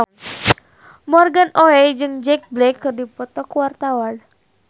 Morgan Oey jeung Jack Black keur dipoto ku wartawan